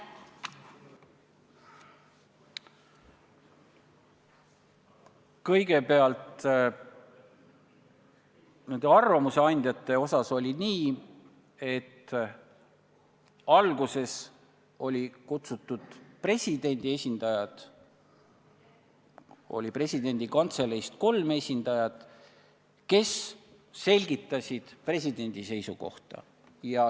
Kõigepealt, nende arvamuse andjatega oli nii, et alguses kutsuti kohale presidendi esindajad – Vabariigi Presidendi Kantseleist kolm esindajat, kes selgitasid presidendi seisukohta.